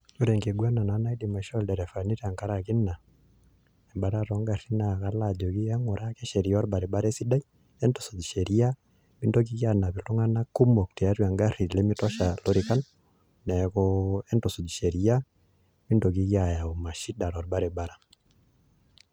Ore enkiguana naidim aishoo ilderefani tangaraki ina batata oo garrin naa kalo ajoki e ng'ura ake sheria olbaribara esidai entusuuj meintokiki aanap iltung'anak kumok te garri lemetosha illorikan neeku entusuuj sheria meintokiki ayayu mashida to baribara